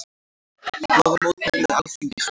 Boða mótmæli við Alþingishúsið